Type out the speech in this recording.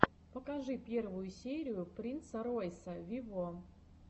покажи первую серию принца ройса вево